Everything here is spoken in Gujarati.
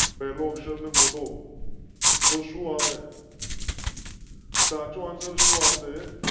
પહેલો અક્ષર ને મોટો. તો સુ અવે સાચો આન્સર શું આવશે